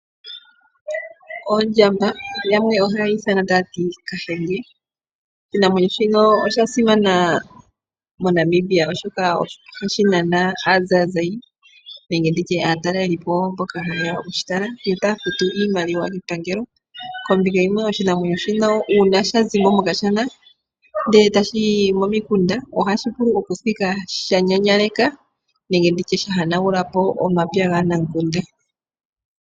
Ondjamba, yamwe oha yeyi ithana taya ti Kashenge. Oshinamwenyo shino osha simana moNamibia oshoka oha shi nana aazayizayi nenge nditye aatalelipo mboka haye ya okushitala yo taya futu iimaliwa kepangelo kombinga yimwe oshinamwenyo shino uuna sha zimo mokashana ndele e tashi yi momikunda oha shi vulu okuthiga sha nyanyaleka nenge nditye sha hanagulapo omapya gaanamukunda.